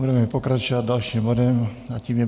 Budeme pokračovat dalším bodem a tím je